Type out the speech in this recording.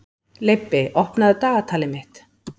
Leibbi, opnaðu dagatalið mitt.